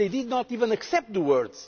They did not even accept the words.